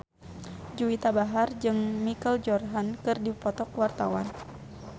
Juwita Bahar jeung Michael Jordan keur dipoto ku wartawan